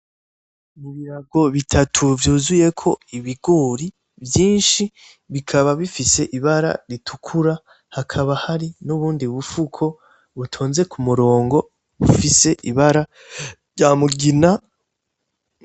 Ibirago bitatu vyuzuyeko ibigori vyinshi bikaba bifise ibara ritukura, hakaba hari nubundi bufuko butonze k'umurongo bufise ibara ryamugina.